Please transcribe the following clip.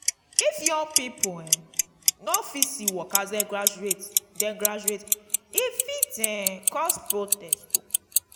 if young pipo[um] no fit see work as dem graduate dem graduate e fit um cause protest.